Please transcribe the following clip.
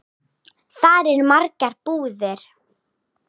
Þar eru margar búðir.